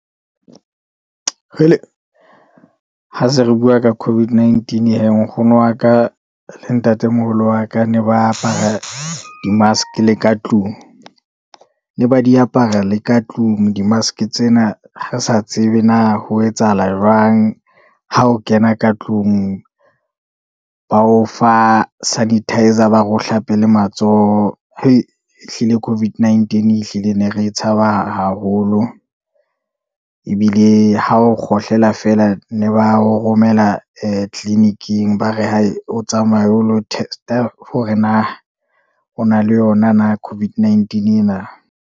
Kgele ha se re bua ka COVID-19 he, nkgono wa ka, le ntatemoholo wa ka ne ba apara di-mask le ka tlung. Ne ba di apara le ka tlung di-mask tsena re sa tsebe na ho etsahala jwang, ha o kena ka tlung ba o fa sanitiser ba re ohlape le matsoho, ehlile COVID-19 ehlile ne re tshaba haholo, ebile ha o kgohlela fela ne ba o romela ee tliliniking, ba re o tsamaye o lo test-a hore na o na le yona na COVID-19 ena.